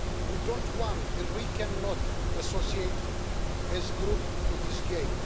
We don't want and we cannot associate as a group to this game.